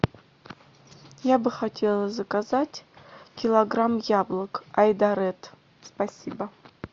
я бы хотела заказать килограмм яблок айдаред спасибо